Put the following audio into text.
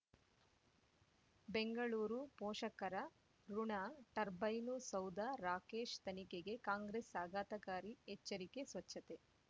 ಬೆಂಗಳೂರು ಪೋಷಕರಋಣ ಟರ್ಬೈನು ಸೌಧ ರಾಕೇಶ್ ತನಿಖೆಗೆ ಕಾಂಗ್ರೆಸ್ ಆಘಾತಕಾರಿ ಎಚ್ಚರಿಕೆ ಸ್ವಚ್ಛತೆ